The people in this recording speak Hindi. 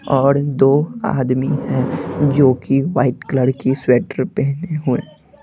और दो आदमी हैं जो कि वाइट कलर की स्वेटर पहने हुए--